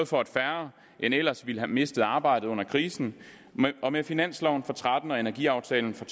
for at færre end ellers har mistet arbejdet under krisen og med finansloven og tretten og energiaftalen for